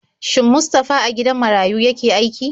Shin Mustafa a gidan marayu yake aiki?